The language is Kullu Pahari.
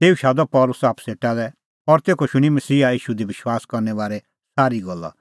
तेऊ शादअ पल़सी आप्पू सेटा और तेखअ शूणीं मसीहा ईशू दी विश्वास करने बारै सारी गल्ला